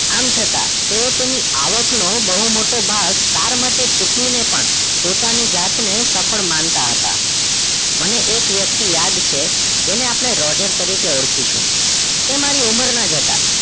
આમ છતાં તેવો તેની આવક નો બહુ મોટો ભાગ car માટે ચૂકવી ને પણ પોતાની જાત ને સફળ માનતા હતા મને એક વ્યક્તિ યાદ છે જેને આપણે રોજર તરીકે આળખીશું તે મારી ઉમર ના જ હતા